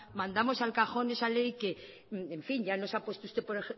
mandamos al cajón esa ley que en fin ya nos ha puesto usted por